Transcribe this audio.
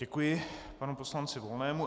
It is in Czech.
Děkuji panu poslanci Volnému.